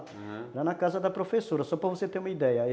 Aham, era na casa da professora, só para você ter uma ideia.